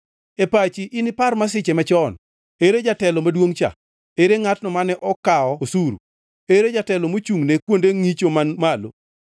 E pachi inipar masiche machon: “Ere jatelo maduongʼ cha? Ere ngʼatno mane okawo osuru? Ere jatelo mochungʼne kuonde ngʼicho man malo?”